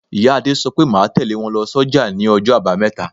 Ìyá Adé sọ pé máa tẹle wọn lọ s'oja ní ọjọ́ abameta.